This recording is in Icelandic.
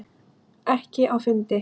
Ekki á fundi.